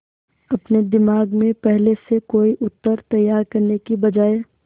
अपने दिमाग में पहले से कोई उत्तर तैयार करने की बजाय